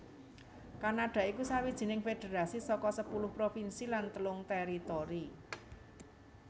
Kanada iku sawijining federasi saka sepuluh provinsi lan telung teritori